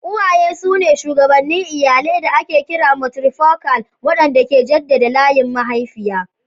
Uwaye su ne shugabannin iyalai da ake kira matrifokal, waɗanda ke jaddada layin mahaifiya.